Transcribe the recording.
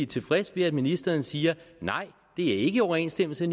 tilfreds med at ministeren siger nej det er ikke i overensstemmelse